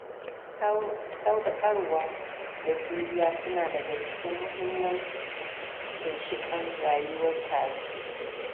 Sadaukarwa da juriya suna daga cikin muhimman ginshiƙan rayuwar tare.